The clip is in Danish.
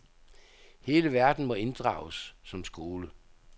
Hele verden må inddrages som skole.